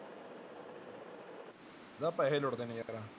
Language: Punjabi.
ਨਾ ਪੈਸੇ ਲੁੱਟਦੇ ਨੇ